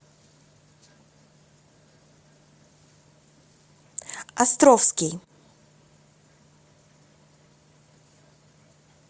островский